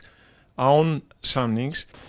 án samnings